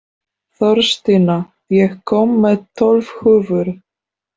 Þórstína, ég kom með tólf húfur!